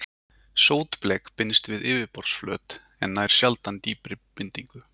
Sótblek binst við yfirborðsflöt en nær sjaldan dýpri bindingu.